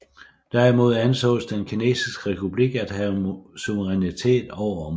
Derimod ansås den kinesiske republik at have suverænitet over områderne